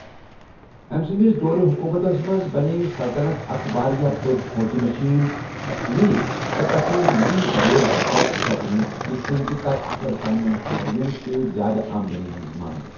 أمۍ سٕنٛدِس دورِ حکوٗمتَس منٛز بنٛیے سلطنَت اکھ واریٛاہ بٔڑ فوٗجی مٔشیٖن تہٕ أمیٖر تہٕ تَس سٕنٛدۍ مُریٖد بڑے لَگ بَگ ژۄگنہٕ، یِتھ کٔنۍ زِ تَس کٔر پنِنٮ۪ن شہری یَن سۭتۍ زِیٛادٕ آمدنی ہٕنٛز منٛگ۔